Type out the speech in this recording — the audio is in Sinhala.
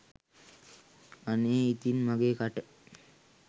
අනේ ඉතින් මගේ කට